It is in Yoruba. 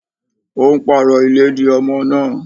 Ó ń pàrọ̀ ìlédìí ọmọ náà.